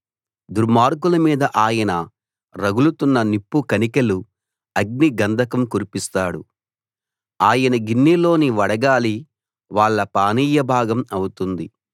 దుర్మార్గుల మీద ఆయన రగులుతున్న నిప్పు కణికెలు అగ్నిగంధకం కురిపిస్తాడు ఆయన గిన్నెలోని వడగాలి వాళ్ళ పానీయభాగం అవుతుంది